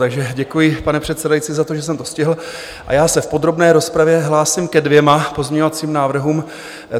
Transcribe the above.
Takže děkuji, pane předsedající, za to, že jsem to stihl, a já se v podrobné rozpravě hlásím ke dvěma pozměňovacím návrhům.